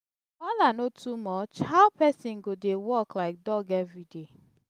wahala no too much how person go dey work like dog everyday.